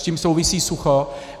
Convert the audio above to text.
S tím souvisí sucho.